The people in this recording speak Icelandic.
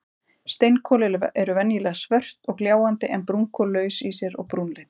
Steinkol eru venjulega svört og gljáandi en brúnkol laus í sér og brúnleit.